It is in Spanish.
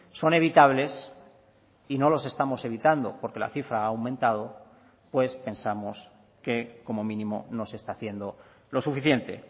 son evitables y no los estamos evitando porque la cifra ha aumentado pues pensamos que como mínimo no se está haciendo lo suficiente